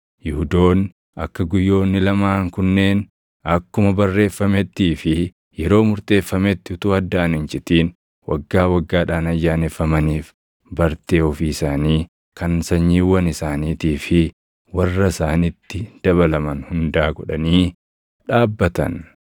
Yihuudoonni akka guyyoonni lamaan kunneen akkuma barreeffamettii fi yeroo murteeffametti utuu addaan hin citin waggaa waggaadhaan ayyaaneffamaniif bartee ofii isaanii, kan sanyiiwwan isaaniitii fi warra isaanitti dabalaman hundaa godhanii dhaabbatan.